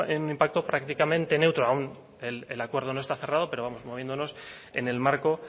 un impacto prácticamente neutro aun el acuerdo no está cerrado pero moviéndonos en el marco